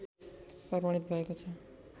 प्रमाणित भएको छ